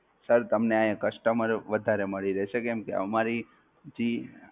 Sir તમને customer વધારે મળી રહેશે કેમકે અમારી થી